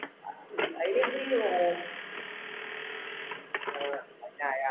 അതിന് എന്ത് ചെയ്യുന്നു? ചായ